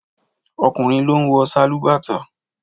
Ọkùnrin ló ń wọ sálúbàtà